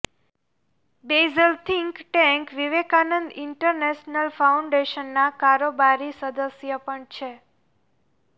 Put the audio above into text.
Baijal think tank Vivekananda international ફાઉન્ડેશનના કારોબારી સદસ્ય પણ છે